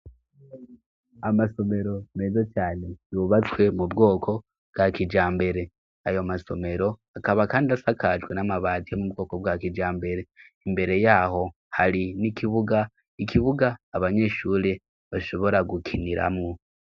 Amasomero mezo cane yubatswe mu bwoko bwa kija mbere ayo masomero akaba, kandi asakajwe n'amabatiyo mu bwoko bwa kija mbere imbere yaho hari n'ikibuga ikibuga abanyeshure bashobora gukiniramwo.